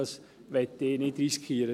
Das möchte ich nicht riskieren.